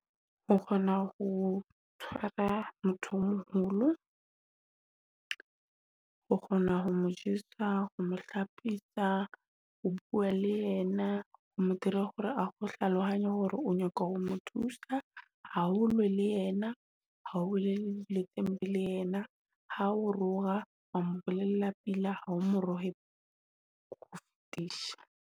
Ho kgona ho tshwara motho o moholo, o kgona ho mo jesa, ho mo hlophisa, ho bua le yena, ho dira hore ao hlalohanya hore o nyaka ho mo thusa ha o lwe le yena. Ha o le teng le yena ha o roa, wa mmolella pila ha o morowe .